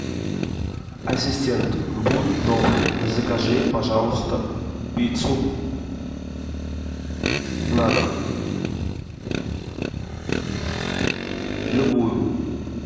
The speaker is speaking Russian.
ассистент будь добр закажи пожалуйста пиццу на дом любую